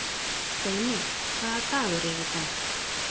Steini, hvaða dagur er í dag?